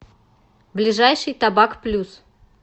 ближайший табак плюс